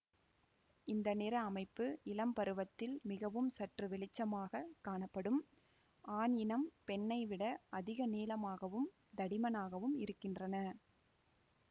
இந்த நிற அமைப்பு இளம் பருவத்தில் மிகவும் சற்று வெளிச்சமாக காணப்படும்ஆண் இனம் பெண்ணை விட அதிக நீளமாகவும் தடிமனாகவும் இருக்கின்றன